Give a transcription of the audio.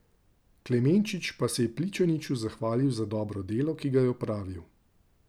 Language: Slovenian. Klemenčič pa se je Pličaniču zahvalil za dobro delo, ki ga je opravil.